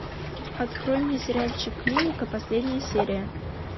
открой мне сериальчик клиника последняя серия